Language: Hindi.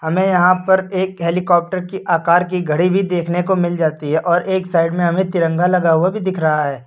हमें यहां पर एक हेलीकॉप्टर की आकार की घड़ी भी देखने को मिल जाती है और एक साइड में हमें तिरंगा लगा हुआ भी दिख रहा है।